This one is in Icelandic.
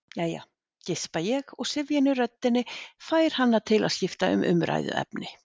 Jæja, geispa ég og syfjan í röddinni fær hana til að skipta um umræðuefni.